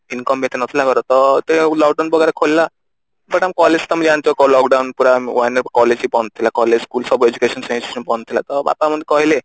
income ବି ଏତେ ନଥିଲା ଘରେ ତ ପରେ lockdown ବଗେରା ଖୋଲିଲା ସେଟା ତମେ ଜାଣିଛ lockdown ପୁରା one year collage ବି ବନ୍ଦ ଥିଲା collage school ସବୁ education system ବନ୍ଦ ଥିଲା ତ ବାପା ମତେ କହିଲେ